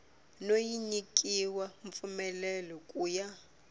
no nyikiwa mpfumelelo ku ya